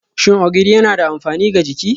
Shin Ogiri yana da amfani ga jiki?